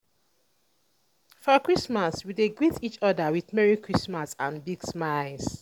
for christmas um we dey greet each other um with "merry christmas" and big smiles.